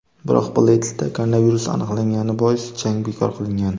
Biroq Bleydsda koronavirus aniqlangani bois jang bekor qilingan.